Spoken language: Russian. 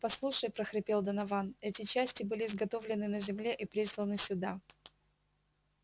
послушай прохрипел донован эти части были изготовлены на земле и присланы сюда